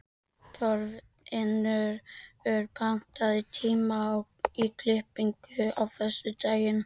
Þorfinnur, pantaðu tíma í klippingu á föstudaginn.